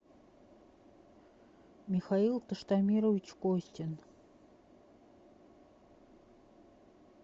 михаил таштамирович костин